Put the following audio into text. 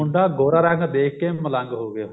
ਮੁੰਡਾ ਗੋਰਾ ਰੰਗ ਦੇਖ ਕੇ ਮਲੰਗ ਹੋ ਗਿਆ